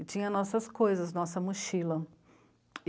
E tinha nossas coisas, nossa mochila.